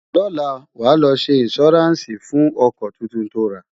lọla, wà ló ṣé insuranci fún ọkọ túntùn tó rà